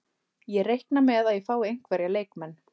Ég reikna með að ég fái einhverja leikmenn.